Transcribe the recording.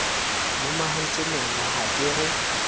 lomahantse meno ha ke re